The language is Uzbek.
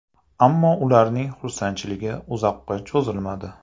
Ammo ularning xursandchiligi uzoqqa cho‘zilmadi.